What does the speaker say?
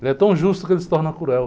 Ele é tão justo que ele se torna cruel.